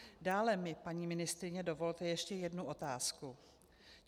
Dále mi, paní ministryně, dovolte ještě jednu otázku.